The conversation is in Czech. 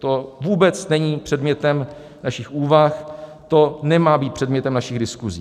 To vůbec není předmětem našich úvah, to nemá být předmětem našich diskusí.